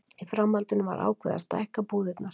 Í framhaldinu var ákveðið að stækka búðirnar.